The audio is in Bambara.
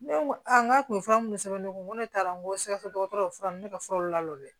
Ne ko a n k'a kun fura mun sɛbɛn ne kun ne taara n ko sɛgɛsɛ dɔkɔtɔrɔ ne ka furaw la dɛ